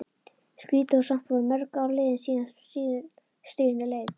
Skrýtið, og samt voru mörg ár liðin síðan stríðinu lauk.